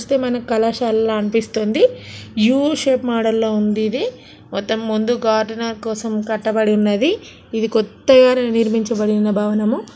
చూస్తే మనకు కళాశాల అనిపిస్తుంది. యూ షేప్ మోడల్ లో ఉంది ఇది. మొత్తం ముందు గార్డెనర్ కోసం కట్టబడి ఉన్నది. ఇది కొత్తగా నిర్మించబడిన భవనము.